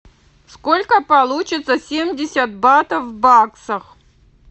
сколько получится семьдесят батов в баксах